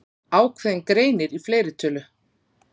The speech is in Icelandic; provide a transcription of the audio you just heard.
Ákveðinn greinir í fleirtölu.